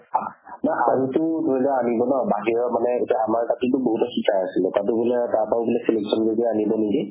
নহয় টো ধৰি লোৱা আনিব ন বাহিৰৰ মানে এইটো আমাৰ আছিলে। তাতে বুলে তাৰ পৰাও বুলে selection কৰি কৰি আনিব নেকি